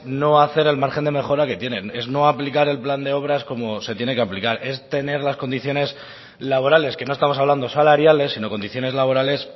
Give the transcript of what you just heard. no hacer el margen de mejora que tienen es no aplicar el plan de obra como se tiene que aplicar es tener las condiciones laborales que no estamos hablando salariales sino condiciones laborales